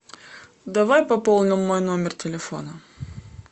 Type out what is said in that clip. давай пополним мой номер телефона